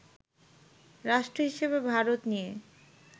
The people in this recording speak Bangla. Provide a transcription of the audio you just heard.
রাষ্ট্র হিসাবে ভারত নিয়ে